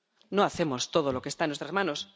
No hacemos todo lo que está en nuestras manos.